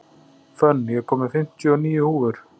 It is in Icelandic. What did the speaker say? Fönn, ég kom með fimmtíu og níu húfur!